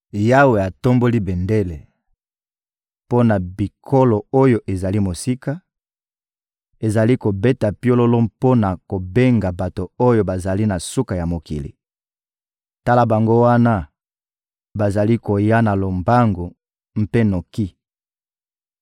Yawe atomboli bendele mpo na bikolo oyo ezali mosika, azali kobeta piololo mpo na kobenga bato oyo bazali na suka ya mokili: tala bango wana, bazali koya na lombangu mpe noki!